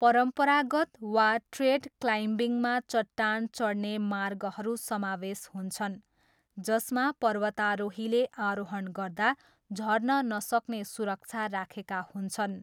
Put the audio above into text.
परम्परागत वा ट्रेड क्लाइम्बिङमा चट्टान चढ्ने मार्गहरू समावेश हुन्छन् जसमा पर्वतारोहीले आरोहण गर्दा झर्न नसक्ने सुरक्षा राखेका हुन्छन्।